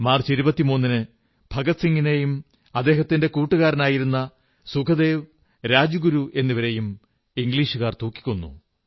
March 23 ന് ഭഗത് സിംഗിനെയും അദ്ദേഹത്തിന്റെ കൂട്ടുകാരായിരുന്ന സുഖദേവ് രാജ്ഗുരു എന്നിവരെയും ഇംഗ്ലീഷുകാർ തൂക്കിക്കൊന്നു